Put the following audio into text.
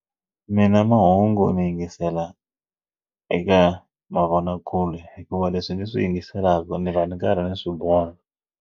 Mina mahungu ndzi yingisela eka mavonakule hikuva leswi ni swi yingiselaka ni va ni karhi ni swi vona.